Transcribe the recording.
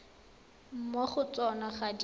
mo go tsona ga di